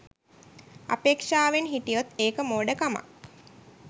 අපේක්‍ෂාවෙන් හිටියොත් ඒක මෝඩකමක්